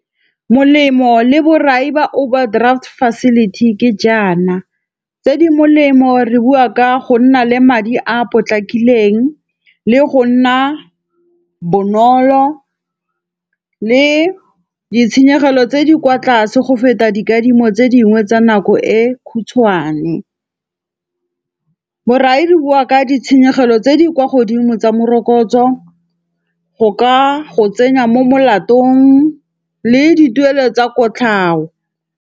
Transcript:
Molemo le borai ba overdraft facility ke jaana, tse di molemo re bua ka go nna le madi a potlakileng, le go nna bonolo le ditshenyegelo tse di kwa tlase go feta dikadimo tse dingwe tsa nako e khutshwane. Borai di boa ka ditshenyegelo tse di kwa godimo tsa morokotso, go ka go tsenya mo molatong le dituelo tsa kotlhao.